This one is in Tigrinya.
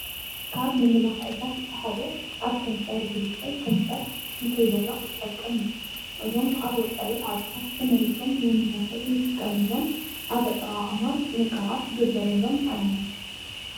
ካብ መመላክዕታት እቲ ሓደ ኣብ ከንፈር ዝልከይ ከንፈር ንከይደርቅ ዝጠቅም እዩ። እዞም ኣብ ወፃኢ ዓድታት ተመሪቶም ንመመላክዒ እንጥቀመሎም ኣብ ኣጠቃቅማ ጥንቓቐ ክግበረሎም ኣለዎ።